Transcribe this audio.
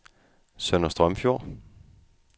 Sønder Strømfjord